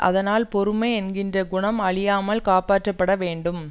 அதனால் பொறுமை என்கின்ற குணம் அழியாமல் காப்பாற்றப் பட வேண்டும்